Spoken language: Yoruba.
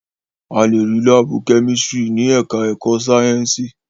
A lè rí láàbù kẹ́mísítírì ní ẹ̀ká ẹ̀kọ́ Sáyẹ̀nsì